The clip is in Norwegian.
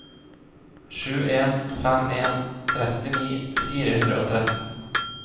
sju en fem en trettini fire hundre og tretten